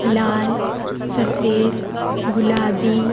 लाल सफेद गुलाबी।